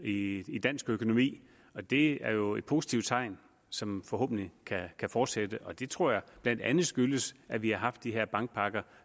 i i dansk økonomi det er jo et positivt tegn som forhåbentlig kan fortsætte det tror jeg blandt andet skyldes at vi har haft de her bankpakker